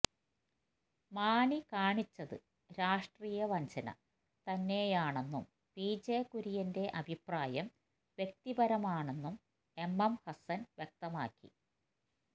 മാണി കാണിച്ചത് രാഷ്ട്രീയ വഞ്ചന തന്നെയാണെന്നും പി ജെ കുര്യൻറെ അഭിപ്രായം വ്യക്തിപരമാണെന്നും എം എം ഹസ്സൻ വ്യകതമാക്കി